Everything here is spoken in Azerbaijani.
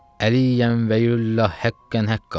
Əliyən Vəliyyullah həqqən həqqa.